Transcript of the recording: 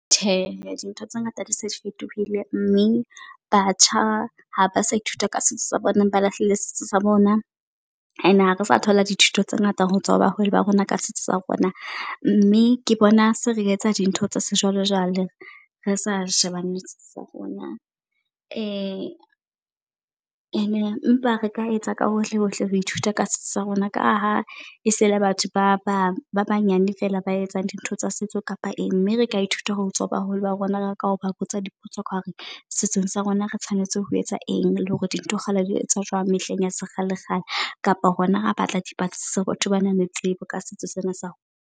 Tjhe, dintho tse ngata di se fetohile mme batjha ha ba sa ithuta ka setso sa bona ba lahlile setso sa bona. And ha re sa thola dithuto tse ngata ho tswa ho batswadi ba rona ka setso sa rona, mme ke bona se re etsa dintho tsa sejwalejwale re sa shebane le setso sa rona. And empa re ka etsa ka hohle hohle ho ithuta ka setso sa rona, ka ha e sele batho ba bang ba banyane fela ba etsang dintho tsa setso kapa e eng. Mme reka ithuta hotswa ho baholo ba rona. Re ka ba botsa dipotso ka hore setsheng sa rona re tshwanetse ho etsa eng le hore dintho kgale di etswa jwang mehleng ya sekgale kgale. Kapa rona ra batla dipatlisiso ho batho bana le tsebo ka setso sena sa rona.